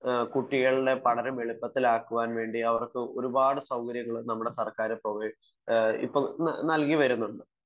കുട്ടികളുടെ പഠനം എളുപ്പത്തിൽ ആക്കാൻവേണ്ടി നമ്മുടെ സർക്കാർ ഒരുപാട് സൗകര്യങ്ങൾ ഇപ്പോൾ നൽകി വരുന്നുണ്ട്